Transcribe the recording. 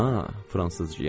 A, fransızca?